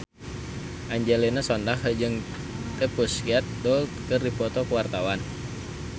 Angelina Sondakh jeung The Pussycat Dolls keur dipoto ku wartawan